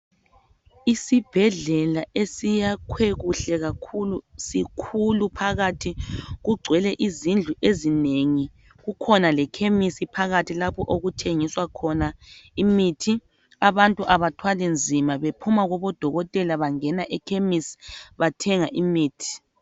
Isibhedlela esiyakhwe kuhle kakhulu sikhulu phakathi kugcwele izindlu ezinengi kukhona lekhemisi phakathi lapho okuthengiswa khona imithi abantu abathwali nzima bephuma kubodokotela bangena ekhemisi bathenga imithi.